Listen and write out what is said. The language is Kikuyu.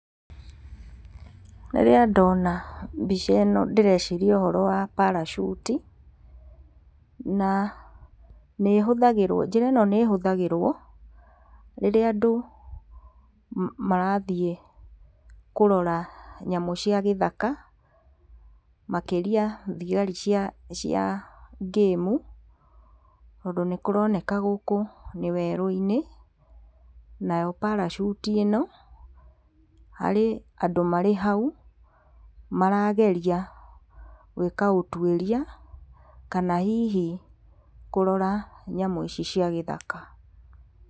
Rĩrĩa ndona mbica ĩno ndĩreciria ũhoro wa parachute na nĩhũtagĩrwo, njĩra ĩno nĩhũthagĩrwo, rĩrĩa andũ marathiĩ kũrora nyamũ cia gĩthaka, makĩria thigari cia cia ngĩmu, tondũ nĩkũroneka gũkũ nĩ werũ-inĩ, nayo parachute ĩno, harĩ andũ marĩ hau, marageria gwĩka ũtuĩria, kana hihi kũrora nyamũ ici cia gĩthaka.